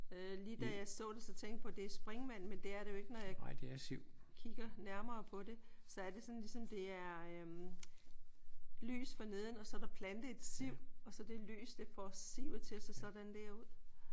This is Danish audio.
Øh lige da jeg så det så tænkte jeg på det er springvand men det er det jo ikke når jeg kigger nærmere på det. Så er det sådan ligesom det er øh lys for neden og så er der plantet et siv og så det lys det får sivet til at se sådan der ud